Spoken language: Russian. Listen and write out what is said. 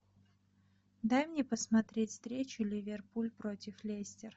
дай мне посмотреть встречу ливерпуль против лестер